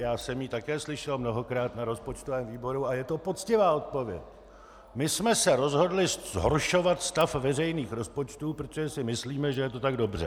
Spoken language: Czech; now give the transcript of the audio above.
Já jsem ji také slyšel mnohokrát na rozpočtovém výboru a je to poctivá odpověď: My jsme se rozhodli zhoršovat stav veřejných rozpočtů, protože si myslíme, že je to tak dobře.